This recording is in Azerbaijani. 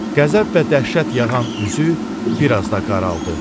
Qəzəb və dəhşət yağan üzü bir az da qaraldı.